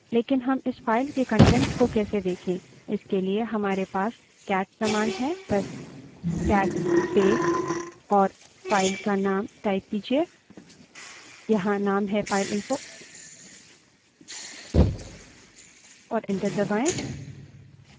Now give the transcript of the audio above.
लेकिन हम इस file के कंटेंट्स को कैसे देखें इसके लिए हमारे पास cat command है but cat space और file का name type कीजिये यहाँ name है fileinfo और enter दबायें